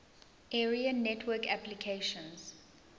area network applications